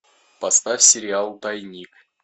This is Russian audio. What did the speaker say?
поставь сериал тайник